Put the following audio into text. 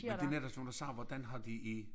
Men det netop sådan nogen der siger hvordan har de i